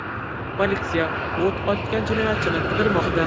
Politsiya o‘t ochgan jinoyatchini qidirmoqda.